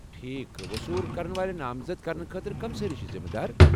ٹھیکھ، وصول كرن والہِ نامزد کرنہٕ خٲطرٕ کم سٲری چھِ ذمہٕ دار؟